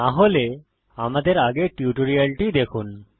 না হলে আমাদের আগের টিউটোরিয়ালটি পড়ুন